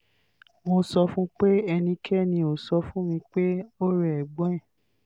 mo sọ fún un pé ẹnikẹ́ni ò sọ fún mi pé ó rẹ ẹ̀gbọ́n rẹ̀